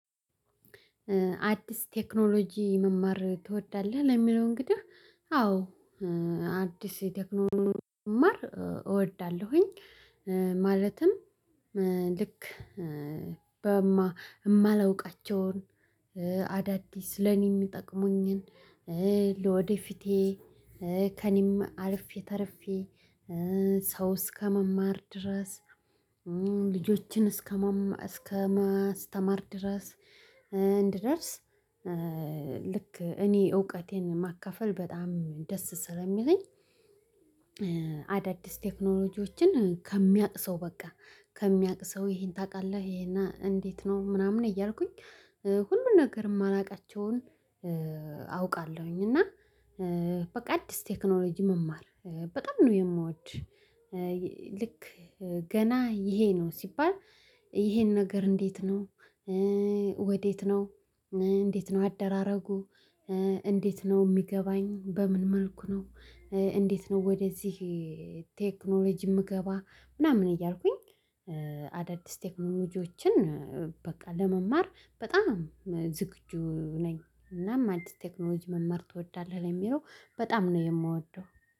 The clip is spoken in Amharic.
አዲስ ቴክኖሎጂ መማር ትወዳለህ? ለሚለው እንግዲህ አዎ አዲስ ቴክኖሎጂ መማር እወዳለሁኝ። ማለትም ልክ የማላውቃቸውን አዳዲስ ለኔ የሚጠቅሙኝን ለወደፊቴ ከእኔም አልፌ ተርፌ ሰው እስከመማር ድረስ። ልጆችን እስከማስተማር ድረስ ልክ እኔ እውቀቴን ማካፈል በጣም ደስ ስለሚለኝ። አዳዲስ ቴክኖሎጂዎችን ከሚያቅ ሰው በቃ ከሚያቅ ሰው ይሄን ታውቃለህ? ይሄ እንዴት ነው ምናምን እያልኩኝ ሁሉን ነገር የማላውቃቸውን አውቃለሁኝ። እና በቃ አዲስ ቴክኖሎጂ መማር በጣም ነው የምወድ። ልክ ገና ይሄ ነው ሲባል ይሄን ነገር እንዴት ነው? ወዴት ነው? እንዴት ነው አደራረጉ? እንዴት ነው የሚገባኝ በምን መልኩ ነው? እንዴት ነው ወደዚህ? ቴክኖሎጂ የምገባ ምናምን እያልኩኝ አዳዲስ ቴክኖሎጂዎችን በቃ ለመማር በጣም ዝግጁ ነኝ። እናም አዲስ ቴክኖሎጂ መማር ትወዳለህ ለሚለው በጣም ነው የምወደው